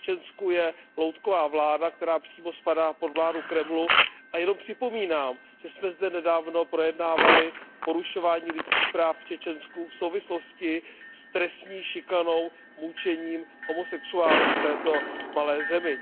V Čečensku je loutková vláda, která přímo spadá pod vládu Kremlu, a jenom připomínám, že jsme zde nedávno projednávali porušování lidských práv v Čečensku v souvislosti s trestní šikanou, mučením homosexuálů v této malé zemi.